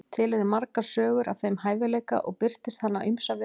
til eru margar sögur af þeim hæfileika og birtist hann á ýmsa vegu